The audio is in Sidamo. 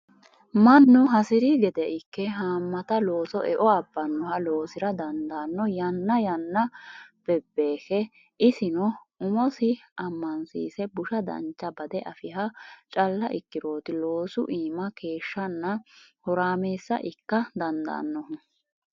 Mannu hasiri gede ikke hamatta looso eo abbanoha loosira dandaano yanna yanna bebekke isino umosi amansiise busha dancha bade afiha calla ikkiroti loosu iima keeshshanna horamessa ikka dandaanohu.